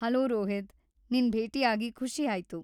Hello Rohit, ನಿನ್‌ ಭೇಟಿಯಾಗಿ ಖುಷಿ ಆಯ್ತು.